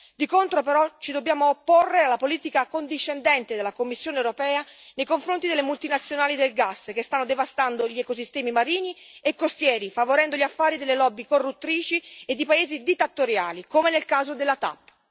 Di contro, però, ci dobbiamo opporre alla politica accondiscendente della Commissione europea nei confronti delle multinazionali del gas, che stanno devastando gli ecosistemi marini e costieri, favorendo gli affari delle lobby corruttrici e di paesi dittatoriali, come nel caso della TAP.